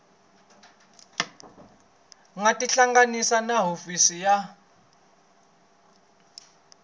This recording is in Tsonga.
nga tihlanganisa na hofisi ya